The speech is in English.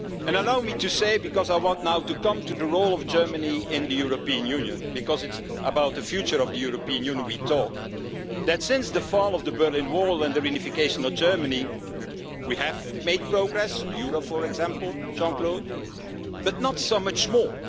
Wall. Allow me to say because I want now to come to the role of Germany in the European Union, because it's about the future of the European Union that we are talking that since the fall of the Berlin Wall and the reunification of Germany we have made progress the euro, for example, but not so much